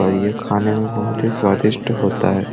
और यह खाने में बहुत ही स्वादिष्ट होता है।